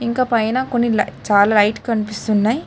ఇంకా పైన కొన్ని లైట్ చాలా లైట్లు చాలా లైట్ కనిపిస్తున్నాయి.